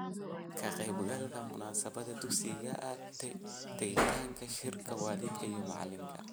Ka qaybgalida munaasabadaha dugsiga, tagitaanka shirka waalidka iyo macalinka.